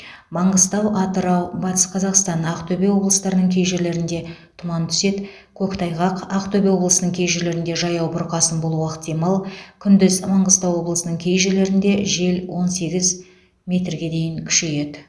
маңғыстау атырау батыс қазақстан ақтөбе облыстарының кей жерлерінде тұман түседі көктайғақ ақтөбе облысының кей жерлерінде жаяу бұрқасын болуы ықтимал күндіз маңғыстау облысының кей жерлерінде жел он сегіз метрге дейін күшейеді